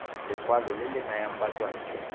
lekwalo le le nayang batswantle